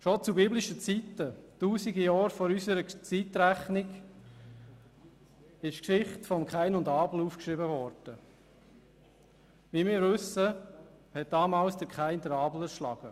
Schon zu biblischen Zeiten, Tausende von Jahren vor unserer Zeitrechnung, wurde die Geschichte von Kain und Abel niedergeschrieben Wie wir wissen, erschlug Kain damals Abel.